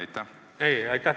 Aitäh teile!